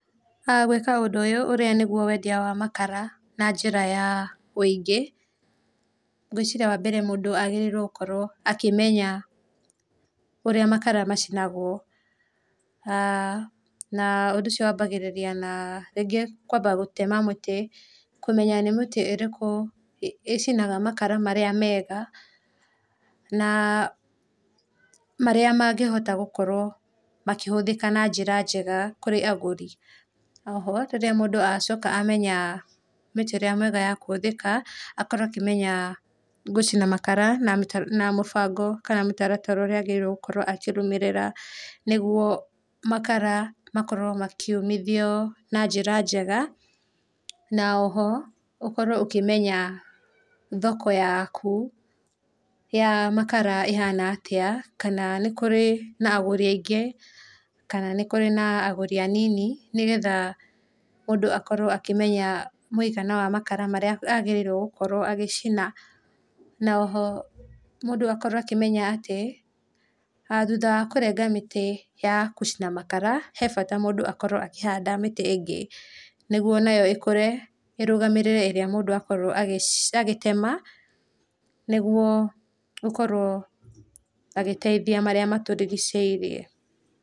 Gwĩka ũndũ ũyũ ũrĩa nĩgũo wendĩa wa makara na njĩra ya ũĩngĩ ngwĩciria wa mbere, mũndũ agĩrĩrĩe gũkorwo akĩmenya ũrĩa makara macinagwo, aah na ũndũ ũcio wambagĩrĩrĩa na rĩngĩ kũamba gũtema mũtĩ na kũmenya nĩ mĩtĩ irĩkũ icinaga makara marĩa mega na marĩa mangĩhota gũkorwo makĩhũthĩka na njĩra njega kũrĩ agũri. Oho rĩrĩa mũndũ acoka amenye mĩtĩ ĩrĩa mĩega ya kũhũthĩka, akorwo akĩmenya gũcina makara na mũbango kana mĩtarara ũrĩa agĩrĩire gũkorwo akĩrũmĩrĩra, nĩguo makara makorwo makĩũmĩthĩo na njĩra njega, na oho ũkorwo ũkĩmenya thoko yaku ya makara ĩhana atĩa, kana nĩ kũrĩ agũri aĩngĩ kana nĩ kũrĩ na agũri anini, nĩgetha mũndũ akorwo akĩmenya mũĩgana wa makara marĩa agĩrĩire gũkorwo agĩcina. Na oho mũndũ akorwo akĩmenya atĩ, thũtha wa kũrenga mĩtĩ ya gũcina makara he bata mũndũ akorwo akĩhanda mĩtĩ ĩngĩ, nĩguo nayo ĩkũre ĩrũgamĩrĩre ĩrĩa mũndũ akorwo agĩtema, nĩguo gũkorwo agĩteithia marĩa matũrigicĩirie.